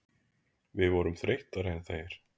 Við vorum þreyttari en þeir.